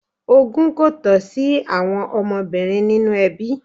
Ogún kò tọ́ sí àwọn ọmọbìnrin nínu ẹbí.